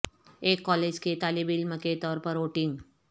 ایک کالج کے طالب علم کے طور پر ووٹنگ